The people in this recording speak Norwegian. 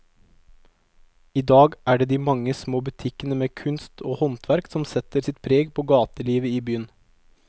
I dag er det de mange små butikkene med kunst og håndverk som setter sitt preg på gatelivet i byen.